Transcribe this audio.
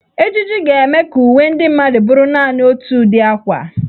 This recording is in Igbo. Ejiji ga-eme ka uwe ndị mmadụ bụrụ naanị otu ụdị akwa.